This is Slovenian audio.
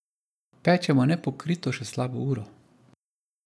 Pečemo nepokrito še slabo uro.